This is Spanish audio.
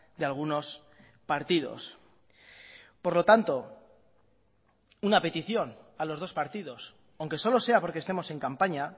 de algunos partidos por lo tanto una petición a los dos partidos aunque solo sea porque estemos en campaña